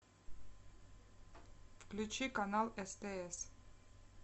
включи канал стс